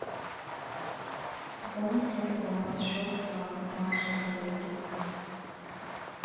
пополни пожалуйста баланс счета маши коллеги